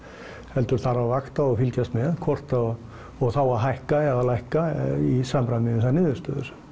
heldur þarf að vakta og fylgjast með og þá hækka eða lækka í samræmi við þær niðurstöður